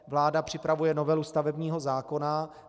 Vláda připravuje novelu stavebního zákona.